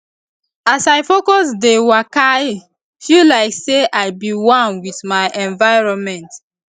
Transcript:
as i focus dey wakai feel like say i be one with my environment